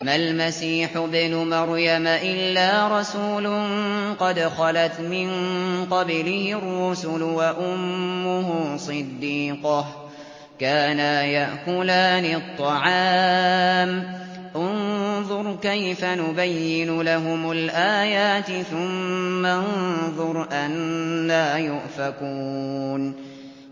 مَّا الْمَسِيحُ ابْنُ مَرْيَمَ إِلَّا رَسُولٌ قَدْ خَلَتْ مِن قَبْلِهِ الرُّسُلُ وَأُمُّهُ صِدِّيقَةٌ ۖ كَانَا يَأْكُلَانِ الطَّعَامَ ۗ انظُرْ كَيْفَ نُبَيِّنُ لَهُمُ الْآيَاتِ ثُمَّ انظُرْ أَنَّىٰ يُؤْفَكُونَ